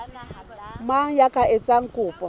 mang ya ka etsang kopo